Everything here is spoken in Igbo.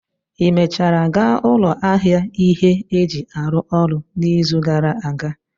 Ị mechara gaa ụlọ ahịa ihe eji arụ ụlọ n'izu gara aga?